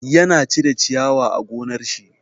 Ya na cire ciyawa a gonar shi.